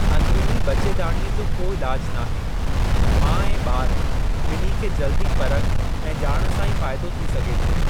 अंदिरुनी ॿचेदाणीअ जो को इलाजु नाहे, माउ ऐं ॿार ॿिन्ही खे जल्दी परख ऐं ॼाण सां ई फ़ाइदो थी सघे थो।